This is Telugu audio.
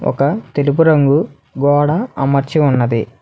ఒక తెలుపు రంగు గోడ అమర్చి ఉన్నది.